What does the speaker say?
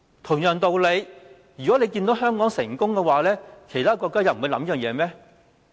同樣道理，如果看到香港成功，其他國家又不會考慮這件事嗎？